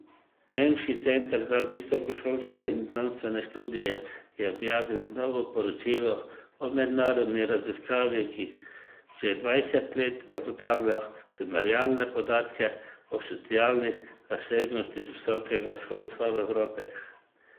Nemški center za visokošolske in znanstvene študije je objavil novo poročilo o mednarodni raziskavi, ki že dvajset let zagotavlja primerjalne podatke o socialni razsežnosti visokega šolstva v Evropi.